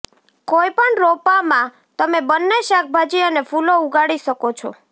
કોઈપણ રોપામાં તમે બંને શાકભાજી અને ફૂલો ઉગાડી શકો છો